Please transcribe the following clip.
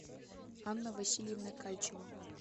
анна васильевна кальчева